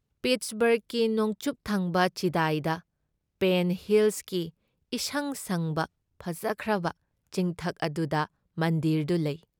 ꯄꯤꯠꯁꯕꯔꯒꯀꯤ ꯅꯣꯡꯆꯨꯞꯊꯪꯕ ꯆꯤꯗꯥꯏꯗ ꯄꯦꯟ ꯍꯤꯜꯁꯀꯤ ꯏꯁꯪ ꯁꯪꯕ ꯐꯖꯈ꯭ꯔꯕ ꯆꯤꯡꯊꯛ ꯑꯗꯨꯗ ꯃꯟꯗꯤꯔꯗꯨ ꯂꯩ ꯫